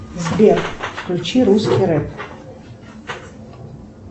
сбер включи русский рэп